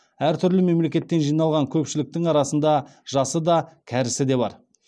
әртүрлі мемлекеттен жиналған көпшіліктің арасында жасы да кәрісі де бар